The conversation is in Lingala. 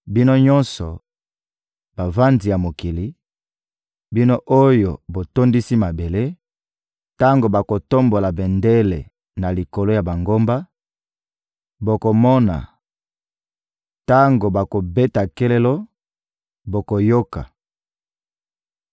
Bino nyonso, bavandi ya mokili, bino oyo botondisi mabele, tango bakotombola bendele na likolo ya bangomba, bokomona; tango bakobeta kelelo, bokoyoka!